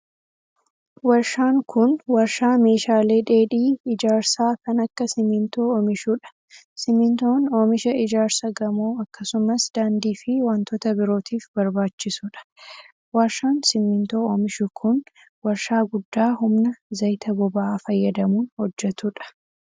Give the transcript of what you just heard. Warshaan kun, warshaa meeshaalee dheedhii ijaarsaa kan akka simiintoo oomishuu dha. Simiintoon oomisha ijaarsa gamoo akkasumas daandii fi wantoota birootif barbaachisuu dha. Warshaan simiintoo oomishu kun, warshaa guddaa humna zayita boba'aa fayyadamuun hojjatuu dha.